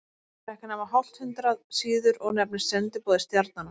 Það er ekki nema hálft hundrað síður og nefnist Sendiboði stjarnanna.